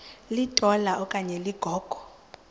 litola okanye ligogo